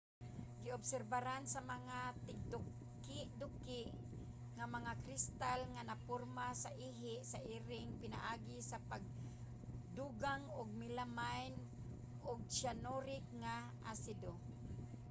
giobserbahan sa mga tigdukiduki ang mga kristal nga naporma sa ihi sa iring pinaagi sa pagdugang og melamine ug cyanuric nga asido